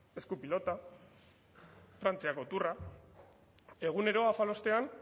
eskupilota frantziako tourra egunero afalostean